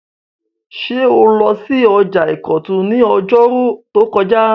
Ṣé o lọ sí ọjà ìkọ̀tún ní ọjọ́rú tó kọjá?